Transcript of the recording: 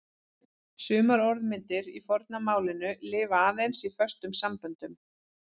Sumar orðmyndir í forna málinu lifa aðeins í föstum samböndum.